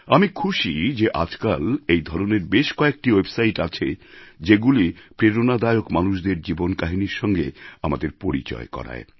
আমি খুশি যে আজকাল এই ধরনের বেশ কয়েকটি ওয়েবসাইট আছে যেগুলি প্রেরণাদায়ক মানুষদের জীবন কাহিনির সঙ্গে আমাদের পরিচয় করায়